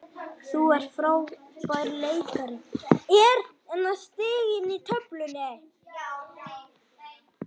Þú ert frábær leikari.